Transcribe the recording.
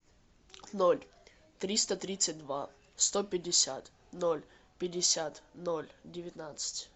ноль триста тридцать два сто пятьдесят ноль пятьдесят ноль девятнадцать